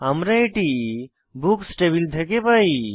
আমরা এটি books table থেকে পাই